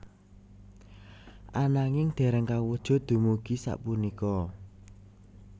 Ananging dereng kawujud dumugi sapunika